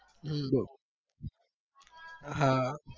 હમ હા